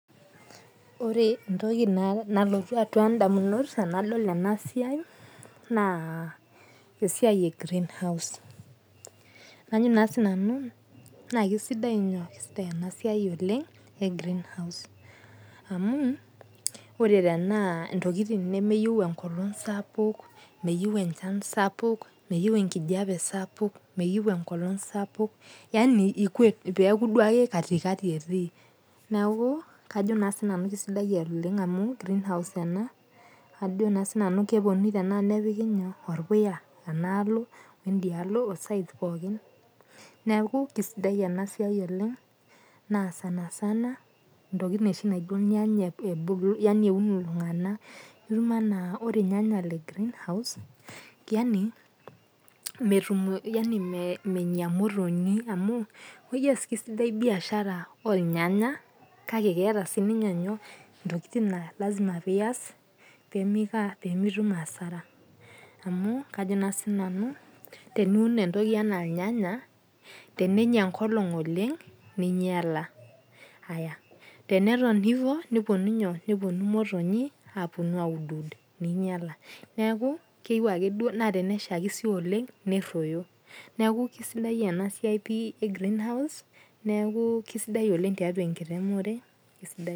Ore entoki nalotu atua idamunot enadol enaa siai naa esiai ee green house. Ajo sii nanu na kisidai inyoo? Isidai ena siai ee greenhouse. Amu ore tenaa intokitin nemeyeu enkolong' sapuk meyeu enchan sapuk, meyeu enkijape sapuk ,meyiu enkolong' sapuk. Yaani peeku duo ake katikati etii. Neeku kajo sii ninye nanu kisidai amu greenhouse ena ajo na sii nanu keponunui nepiki inyoo? Orpuya analo weidialo oo sides pookin neeku kisidai enaa siai oleng' naa sana sana intokitin oshi kata iyeu niun irng'anayio. Itum anaa ore irnyanya lee greenhouse yaani menya imotonyi amu kisidai biashara oo irnyanya kake keeta sii ninye intokitin naa lazima piyas pemiko aa? Pemitum hasara . Amu kajo naa sii nanu teniun entoki enaa irnyanya tenenya enkolong' oleng' neinyala. Aya. Teneton teboo nepuonu inyoo? Nepuonu imotonyi apuonu aud ud ninyala. Neeku keyeu ake duo naa tenashaki sii duo neroyo. Neeku kisidai ena siai pii ee greenhouse kisidai oleng' tiatua enkiremore.